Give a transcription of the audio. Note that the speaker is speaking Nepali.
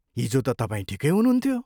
हिजो त तपाईँ ठिकै हुनुहुन्थ्यो।